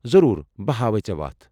ضروٗر، بہٕ ہاوے ژےٚ وتھ ۔